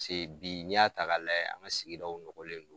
Psee bi n'i y'a ta k'a layɛ an ka sigidaw nɔgɔlen don.